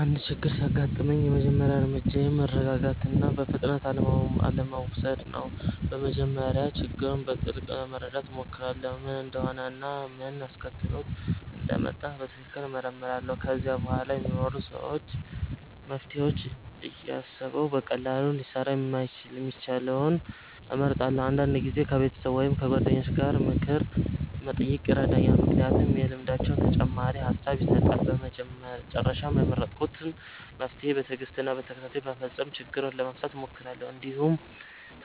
አንድ ችግር ሲያጋጥመኝ የመጀመሪያ እርምጃዬ ማረጋጋት እና በፍጥነት አለመውሰድ ነው። በመጀመሪያ ችግሩን በጥልቅ ለመረዳት እሞክራለሁ፣ ምን እንደሆነ እና ምን አስከትሎት እንደመጣ በትክክል እመረምራለሁ። ከዚያ በኋላ ሊኖሩ የሚችሉ መፍትሄዎችን እያሰብሁ በቀላሉ ሊሰራ የሚችለውን እመርጣለሁ። አንዳንድ ጊዜ ከቤተሰብ ወይም ከጓደኞች ምክር መጠየቅ ይረዳኛል፣ ምክንያቱም ልምዳቸው ተጨማሪ ሐሳብ ይሰጣል። በመጨረሻም የመረጥኩትን መፍትሄ በትዕግስት እና በተከታታይ በመፈጸም ችግሩን ለመፍታት እሞክራለሁ፣ እንዲሁም